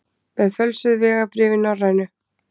Með fölsuð vegabréf í Norrænu